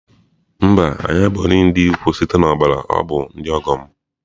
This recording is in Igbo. Mba, anyị abụghị ndị ikwu site na ọbara ọ bụ ndị ọgọ m.